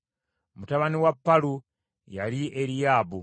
Mutabani wa Palu yali Eriyaabu,